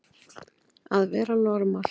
Að vera normal